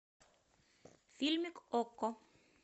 фильмик окко